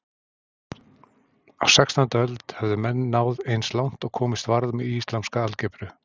Á sextándu öld höfðu menn náð eins langt og komist varð með islamska algebru.